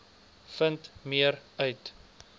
vind meer uit